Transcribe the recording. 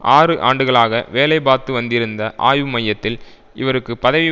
ஆறு ஆண்டுகளாக வேலை பார்த்து வந்திருந்த ஆய்வு மையத்தில் இவருக்கு பதவி